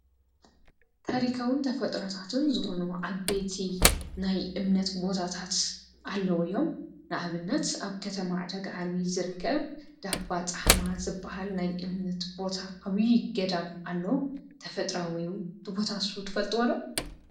ታሪካውን ተፈጥሮታትን ዝኾኑ ዓበይቲ ናይ እምነት ቦታታት ኣለዉ እዮም። ንኣብነት ኣብ ከተማ ዕዳጋ ዓርቢ ዝርከብ እንዳባፃሕማ ዝበሃል ናይ እምነት ቦታ ዓብይ ገዳም ኣሎ ተፈጥሮኣዊ እዩ። እቲ ቦታ ንሱ ትፈልጥዎ ዶ?